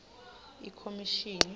ikhomishini